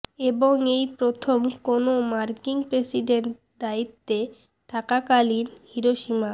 এবং এই প্রথম কোনও মার্কিন প্রেসিডেন্ট দায়িত্বে থাকাকালীন হিরোশিমা